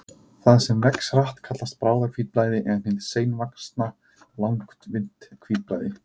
Það sem vex hratt kallast bráðahvítblæði en hið seinvaxna langvinnt hvítblæði.